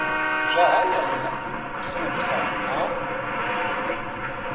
zwa hayani na phukha a